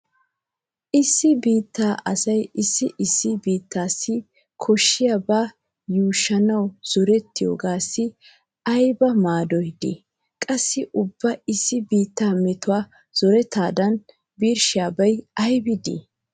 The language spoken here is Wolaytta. Issi biittaa asay issi issi biittaassi koshsbiyaba yuushuwan zorettiyogaassi ayba maadoy de'i? Qassi ubba issi biittaa metuwa zoretadan birshshiyabi aybi dii?